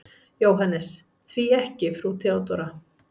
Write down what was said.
JÓHANNES: Því ekki frú Theodóra?